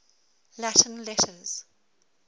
latin letters